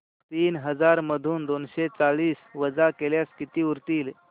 तीन हजार मधून दोनशे चाळीस वजा केल्यास किती उरतील